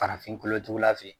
Farafin kolo jugula fɛ yen